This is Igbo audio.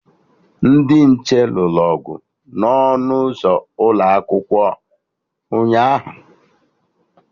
Ndị nche lụrụ ọgụ na ọnụ ụzọ ụlọakwụkwọ ụnyaahụ